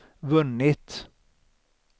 vunnit